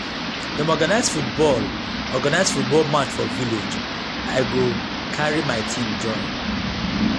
dem organize football organize football match for village i go carry my team join.